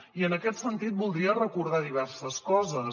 i en aquest sentit voldria recordar diverses coses